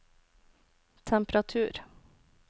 temperatur